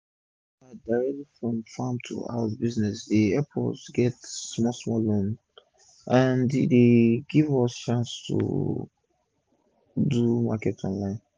dis our direct from farm to house business dey epp us det small small loan and e dey give us chance to do market online